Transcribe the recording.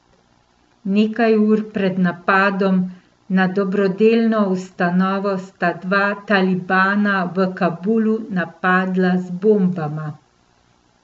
Nekaj ur pred napadom na dobrodelno ustanovo sta dva talibana v Kabulu napadla z bombama.